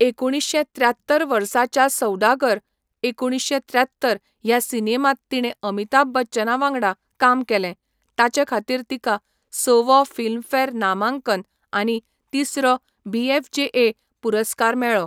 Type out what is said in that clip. एकुणीश्शें त्र्यात्तर वर्साच्या 'सौडागर' एकुणीशे त्र्यात्तर ह्या सिनेमांत तिणें अमिताभ बच्चना वांगडा काम केलें, ताचे खातीर तिका सव्वो फिल्मफेअर नामांकन आनी तिसरो बीएफजेए पुरस्कार मेळ्ळो.